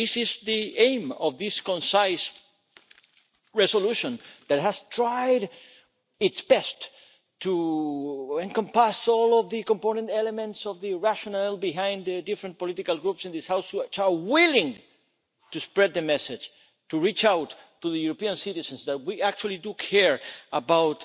This is the aim of this concise resolution that has tried its best to encompass all of the component elements of the rationale behind the different political groups in this House which are willing to spread the message to reach out to the European citizens that we actually do care about